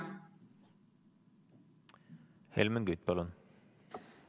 Helmen Kütt, palun!